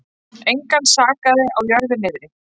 Engan sakaði á jörðu niðri.